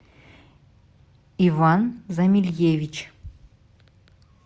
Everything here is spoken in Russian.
иван замильевич